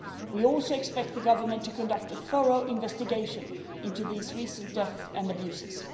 We also expect the Government to conduct a thorough investigation into these recent deaths and abuses.